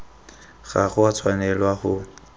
ga go a tshwanelwa go